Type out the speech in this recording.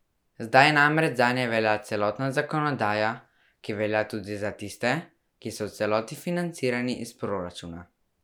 Zdaj namreč zanje velja celotna zakonodaja, ki velja tudi za tiste, ki so v celoti financirani iz proračuna.